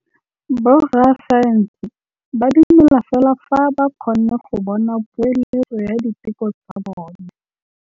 Borra saense ba dumela fela fa ba kgonne go bona poeletsô ya diteko tsa bone.